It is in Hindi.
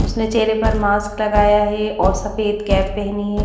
उसने चेहरे पर मास्क लगाया हैं और सफेद कैप पेहनी है।